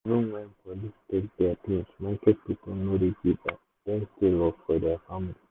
even when police take their things market people no dey give up dem still dey work for their family.